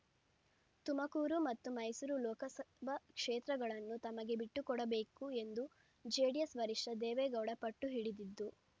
ತುಮಕೂರು ಮತ್ತು ಮೈಸೂರು ಲೋಕಸಭಾ ಕ್ಷೇತ್ರಗಳನ್ನು ತಮಗೇ ಬಿಟ್ಟುಕೊಡಬೇಕು ಎಂದು ಜೆಡಿಎಸ್ ವರಿಷ್ಠ ದೇವೇಗೌಡ ಪಟ್ಟುಹಿಡಿದಿದ್ದು